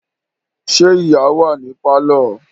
Ṣé ìyá wà ní pálọ̀?